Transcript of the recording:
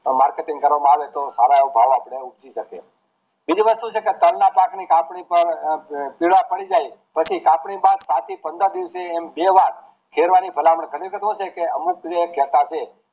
Marketing કરવા માં આવેતો સારો એવો ભાવ આપડે ઉપજી શકે બીજું વસ્તુ છે કે તલ ના પાક ની પાકની પાર કીડા પડી જાય પછી પાક ની પંદર દિવસે હેલવાય હેલવાય ની ભલામણ અમુક જે ઘેટાં છે